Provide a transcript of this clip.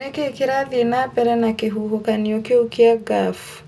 nĩ kĩĩ kĩrathiĩ na mbere na kĩhuhũkanio kĩu kĩa Gulf